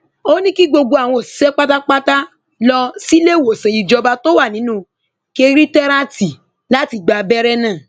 ó ní kí gbogbo àwọn òṣìṣẹ pátápátá lọ síléemọsán ìjọba tó wà nínú kẹrìntéràtì láti gba abẹrẹ náà